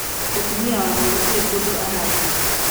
Mũtũmia wakwa gũtĩrĩ kũndũ ũrathie.